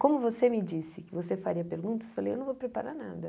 Como você me disse que você faria perguntas, eu falei, eu não vou preparar nada.